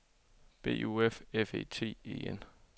B U F F E T E N